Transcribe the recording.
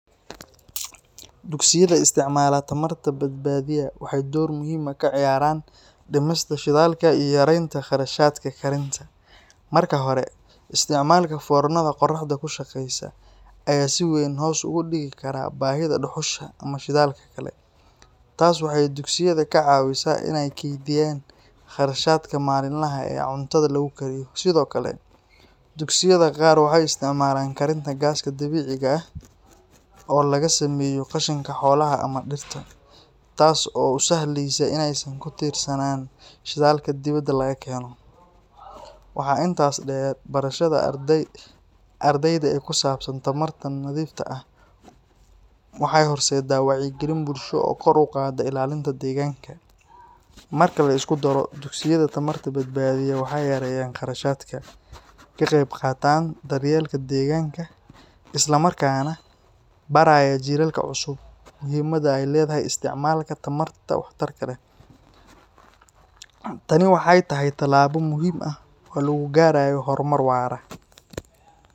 Dugsiyada isticmaala tamarta-badbadiya waxay door muhiim ah ka ciyaaraan dhimista shidaalka iyo yareynta kharashaadka karinta. Marka hore, isticmaalka foornada qoraxda ku shaqeysa ayaa si weyn hoos ugu dhigi kara baahida dhuxusha ama shidaalka kale. Taas waxay dugsiyada ka caawisaa in ay kaydiyaan qarashaadka maalinlaha ah ee cuntada lagu kariyo. Sidoo kale, dugsiyada qaar waxay isticmaalaan karinta gaaska dabiiciga ah (biogas), oo laga sameeyo qashinka xoolaha ama dhirta, taas oo u sahleysa in aysan ku tiirsanaan shidaalka dibadda laga keeno. Waxaa intaas dheer, barashada ardayda ee ku saabsan tamarta nadiifta ah waxay horseeddaa wacyigelin bulsho oo kor u qaadda ilaalinta deegaanka. Marka la isku daro, dugsiyada tamarta-badbadiya waxay yareeyaan kharashaadka, ka qeyb qaataan daryeelka deegaanka, isla markaana baraya jiilalka cusub muhiimadda ay leedahay isticmaalka tamarta waxtarka leh. Tani waxay tahay tallaabo muhiim ah oo lagu gaarayo horumar waara.